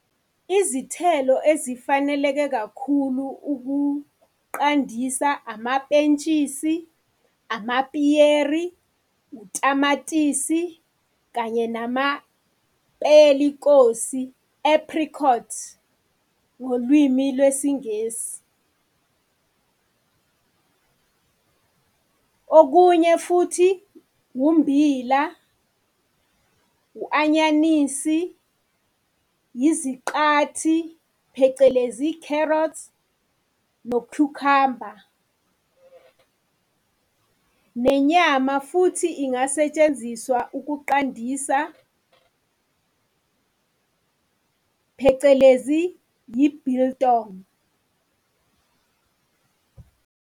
Izithelo ezifaneleke kakhulu ukuqandisa amapentshisi, amapiyeri, utamatisi kanye namapelikosi, apricot, ngolwimi lwesiNgisi. Okunye futhi ummbila, u-anyanisi, iziqathi phecelezi carrots nokhukhamba. Nenyama futhi ingasetshenziswa ukuqandisa phecelezi yi-biltong.